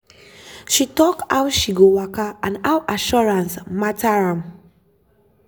she talk how she go waka and how assurance matter am.